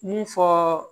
Mun fɔɔ